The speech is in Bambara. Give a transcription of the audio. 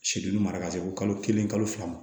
Sidini mara ka se fo kalo kelen kalo fila ma